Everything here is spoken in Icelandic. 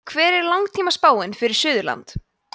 hver er langtímaspáin fyrir suðurland